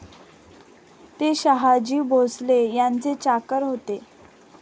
ते शहाजी भोसले यांचे चाकर होते.